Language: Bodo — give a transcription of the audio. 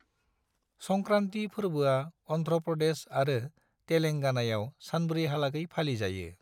संक्रांति फोरबोआ अन्ध्र प्रदेश आरो तेलेंगानाआव सानब्रैहालागै फालिजायो।